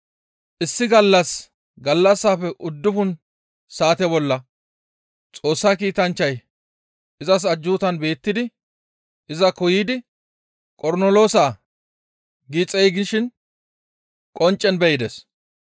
Issi gallas gallassafe uddufun saate bolla Xoossa kiitanchchay izas ajjuutan beettidi izakko yiidi, «Qornoloosaa!» gi xeygishin qonccen be7ides.